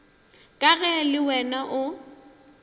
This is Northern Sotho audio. ka ge le wena o